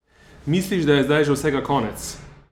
Misliš, da je zdaj že vsega konec?